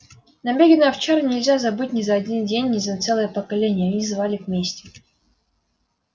набеги на овчарни нельзя забыть ни за один день ни за целое поколение они взывали к мести